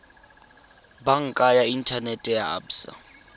banka ya inthanete ya absa